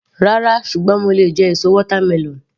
Rárá, ṣùgbọ́n mo lè jẹ èso watermelon.